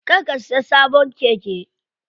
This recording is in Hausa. Kar ka siya sabon keke.